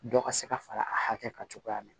Dɔ ka se ka fara a hakɛ kan cogoya min na